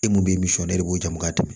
E mun bɛ e de b'o ju mugati